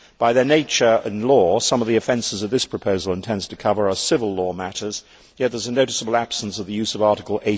By their nature and by law, some of the offences that this proposal intends to cover are civil law matters, yet there is a noticeable absence of the use of Article